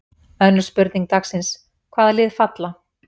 Önnur spurning dagsins: Hvaða lið falla?